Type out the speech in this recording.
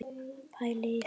Pælið í því!